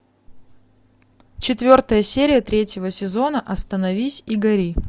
четвертая серия третьего сезона остановись и гори